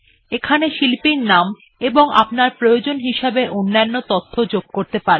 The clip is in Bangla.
এখানে শিল্পীর নাম এবং আপনার প্রয়োজন হিসেবে অন্যান্য তথ্য যোগ করতে পারেন